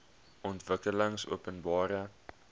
ontwikkelingopenbare